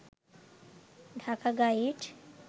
Dhaka guide